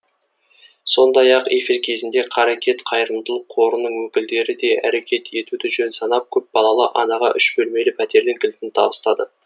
сондай ақ эфир кезінде қарекет қайырымдылық қорының өкілдері де әрекет етуді жөн санап көпбалалы анаға үш бөлмелі пәтердің кілтін табыстады